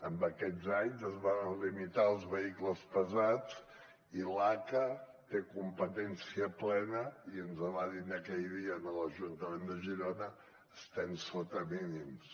en aquests anys es van limitar els vehicles pesants i l’aca té competència plena i ens va dir aquell dia a l’ajuntament de girona estem sota mínims